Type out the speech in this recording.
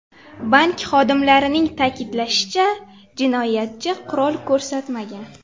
Bank xodimlarining ta’kidlashicha, jinoyatchi qurol ko‘rsatmagan.